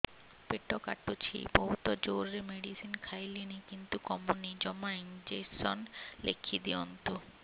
ପେଟ କାଟୁଛି ବହୁତ ଜୋରରେ ମେଡିସିନ ଖାଇଲିଣି କିନ୍ତୁ କମୁନି ଜମା ଇଂଜେକସନ ଲେଖିଦିଅନ୍ତୁ